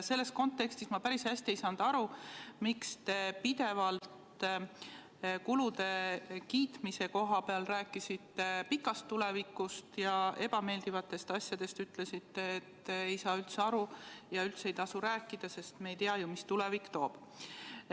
Selles kontekstis ma päris hästi ei saanud aru, miks te pidevalt kulude kiitmise koha peal rääkisite pikast tulevikust ja ebameeldivate asjade puhul ütlesite, et ei saa üldse aru ja üldse ei tasu rääkida, sest me ei tea, mida tulevik toob.